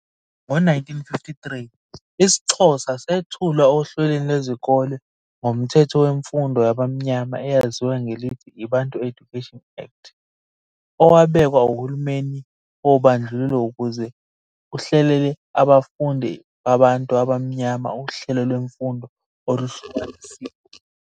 Ngo-1953 isiXhosa sethulwa ohlelweni lwezikole ngoMthetho weMfundo Yabamnyama eyaziwa ngelithi i-Bantu Education Act, owabekwa uhulumeni wobandlululo ukuze uhlelele abafundi babantu abamnyama uhlelo lwemfundo oluhlukanisiwe.